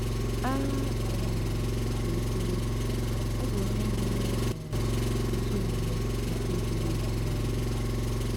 A um sị ka e kwuwe, ọ bụ onye hụrụ um ezi omume na ikpe ziri ezi n'anya.